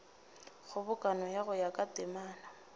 kgobokano go ya ka temana